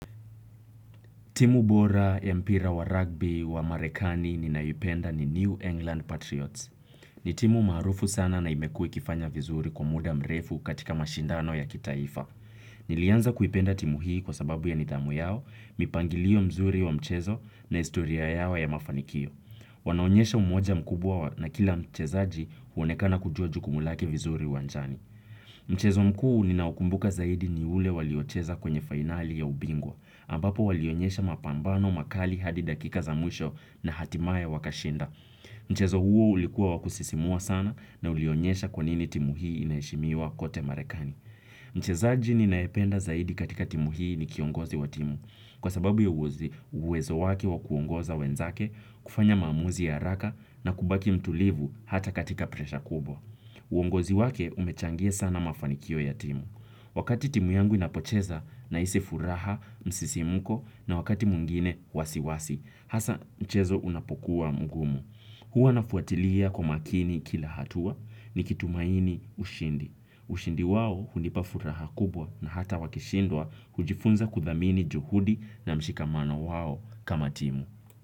Timu bora, ya mpira wa rugby, wa Marekani ninaipenda ni New England Patriots. Ni timu maarufu sana na imekuwa ikifanya vizuri kwa muda mrefu katika mashindano ya kitaifa. Nilianza kuipenda timu hii kwa sababu ya nidhamu yao, mipangilio mzuri wa mchezo na historia yao ya mafanikio. Wanaonyesha umoja mkubwa na kila mchezaji huonekana kujua jukumu lake vizuri uwanjani. Mchezo mkuu ninaukumbuka zaidi ni ule waliocheza kwenye finali ya ubingwa. Ambapo walionyesha mapambano makali hadi dakika za mwisho na hatimaye wakashinda. Mchezo huo ulikuwa wa kusisimua sana na ulionyesha kwa nini timu hii inaheshimiwa kote marekani. Mchezaji ninayependa zaidi katika timu hii ni kiongozi wa timu. Kwa sababu ya uwezo wake wa kuongoza wenzake, kufanya maamuzi ya haraka na kubaki mtulivu hata katika presha kubwa. Uongozi wake umechangia sana mafanikio ya timu. Wakati timu yangu inapocheza nahisi furaha msisimko na wakati mwingine wasiwasi, hasa mchezo unapokuwa mgumu. Huwa nafuatilia kwa makini kila hatua nikitumaini ushindi ushindi wao hunipa furaha kubwa na hata wakishindwa hujifunza kuthamini juhudi na mshikamano wao kama timu.